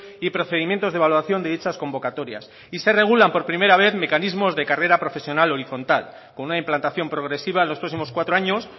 y procedimientos de evaluación de dichas convocatorias y se regulan por primera vez mecanismos de carrera profesional horizontal con una implantación progresiva en los próximos cuatro años